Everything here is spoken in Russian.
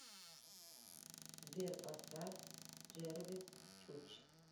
сбер поставь джэрвис чуч